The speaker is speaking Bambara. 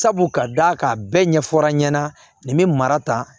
Sabu ka d'a kan a bɛɛ ɲɛfɔra n ɲɛna nin bɛ mara ta